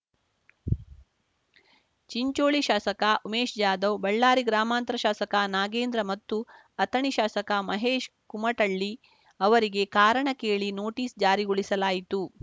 ಚಿಂಚೋಳಿ ಶಾಸಕ ಉಮೇಶ್‌ ಜಾಧವ್‌ ಬಳ್ಳಾರಿ ಗ್ರಾಮಾಂತರ ಶಾಸಕ ನಾಗೇಂದ್ರ ಮತ್ತು ಅಥಣಿ ಶಾಸಕ ಮಹೇಶ್‌ ಕುಮಟಳ್ಳಿ ಅವರಿಗೆ ಕಾರಣ ಕೇಳಿ ನೋಟಿಸ್‌ ಜಾರಿಗೊಳಿಸಲಾಯಿತು